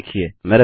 अलविदा